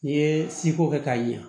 N'i ye siko kɛ k'a ɲɛ